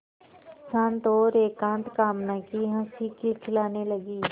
शांत और एकांत कामना की हँसी खिलखिलाने लगी